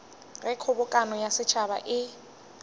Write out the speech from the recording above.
ge kgobokano ya setšhaba e